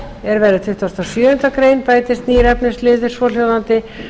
er verði tuttugasta og sjöundu greinar bætist nýr efnismálsliður svohljóðandi